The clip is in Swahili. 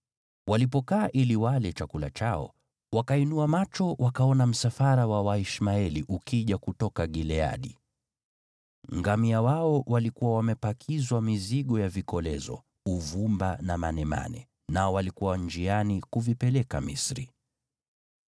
Walipokaa ili wale chakula chao, wakainua macho wakaona msafara wa Waishmaeli ukija kutoka Gileadi. Ngamia wao walikuwa wamepakizwa mizigo ya vikolezo, uvumba na manemane, nao walikuwa njiani kuvipeleka Misri.